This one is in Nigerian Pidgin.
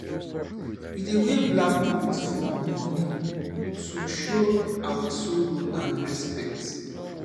we dey wear black cloth for mourning to show our sorrow and respect